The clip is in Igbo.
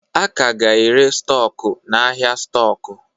A ka ga-ere stọkụ n'ahịa stọkụ.